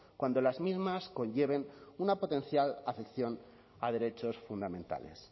cuando las mismas conlleven una potencial acepción a derechos fundamentales